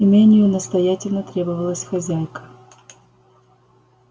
имению настоятельно требовалась хозяйка